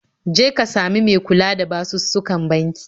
Je ka sami me kula da basussukan banki